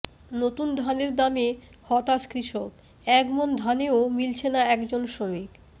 নতুন ধানের দামে হতাশ কৃষক এক মন ধানেও মিলছেনা একজন শ্রমিক